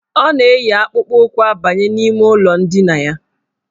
Ọ na-eyi akpụkpụụkwụ abanye n' ime ụlọ ndina ya.